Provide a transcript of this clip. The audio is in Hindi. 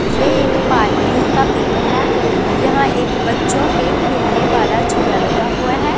ये एक पार्किंग का पिक है यहां एक बच्चों के खेलने वाला झूला लगा हुआ है।